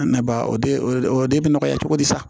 o de bɛ nɔgɔya cogo di sa